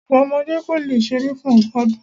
Ogún ọmọdé kò le ṣeré fún ogún ọdún.